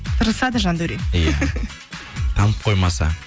тырысады жандаурен иә танып қоймаса